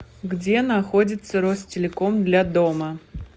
где находится ростелеком для дома